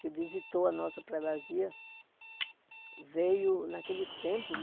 que visitou a nossa predazia, veio naquele tempo.